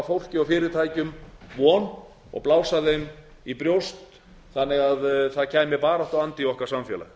fólki og fyrirtækjum von og blása þeim í brjóst þannig að það kæmi baráttuandi í okkar samfélag